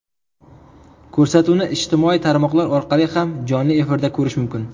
Ko‘rsatuvni ijtimoiy tarmoqlar orqali ham jonli efirda ko‘rish mumkin.